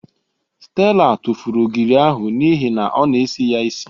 Stella tụfụrụ ogiri ahụ n'ihi na ọ na-esi ya isi.